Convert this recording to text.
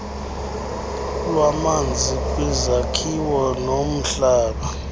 lwamanzi kwizakhiwo nomhlaba